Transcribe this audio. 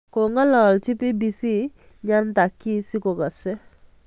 Kangololchi BBC Nyantakyi si kokase.